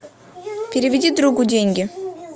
переведи другу деньги